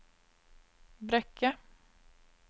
Brekke